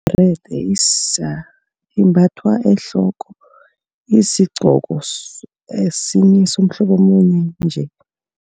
Ibherede imbathwa ehloko. Isigqoko esinye somhlobo omunye nje.